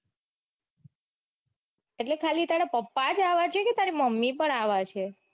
એટલે ખાલી તારા પપ્પા જ આવા છે કે તારી મમ્મી પણ આવા છે.